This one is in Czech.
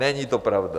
Není to pravda.